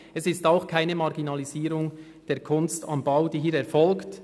es ist auch keine Marginalisierung der «Kunst am Bau», die hier erfolgt.